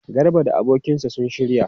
Garba da abokinsa sun shirya?